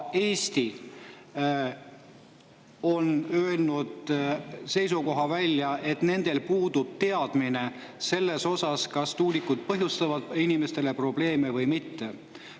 Eesti on öelnud välja seisukoha, et puudub teadmine selles osas, kas tuulikud põhjustavad inimestele probleeme või mitte.